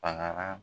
Banaa